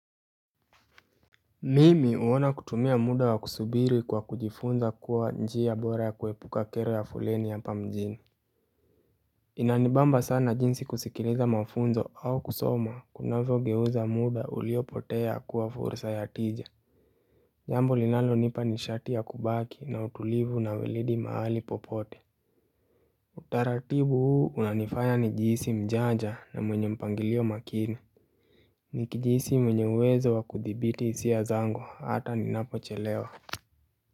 Mimi huona kutumia muda wa kusubiri kwa kujifunza kuwa nji ya bora ya kuwepuka kere ya fuleni yapa mjini Inanibamba sana jinsi kusikiliza mafunzo au kusoma kunavo geuza muda uliopotea kuwa fursa ya tija Jambo linalo nipa ni shati ya kubaki na utulivu na wilidi mahali popote Utaratibu huu unanifanya nijihisi mjanja na mwenye mpangilio makini Nikijihsi mwenye uwezo wa kuthibiti hisia ya zangu hata ni napo chelewa.